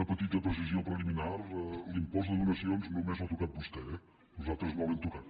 una petita precisió preliminar l’impost de donacions només l’ha tocat vostè eh nosaltres no l’hem tocat